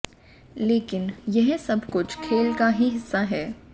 लेकिन यह सब कुछ खेल का ही हिस्सा है